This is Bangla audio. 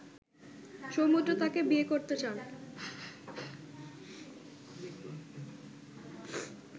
সমুদ্র তাকে বিয়ে করতে চান